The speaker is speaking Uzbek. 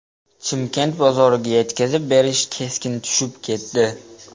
Chimkent bozoriga yetkazib berish keskin tushib ketdi.